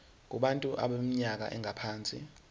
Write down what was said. kubantu abaneminyaka engaphansi